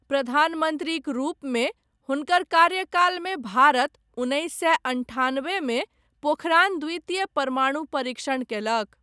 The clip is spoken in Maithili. प्रधानमन्त्रीक रूपमे हुनकर कार्यकालमे भारत उन्नैस सए अन्ठानबे मे पोखरान द्वितीय परमाणु परीक्षण कयलक।